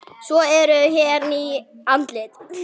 Svo eru hér ný andlit.